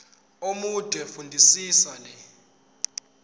omude fundisisa le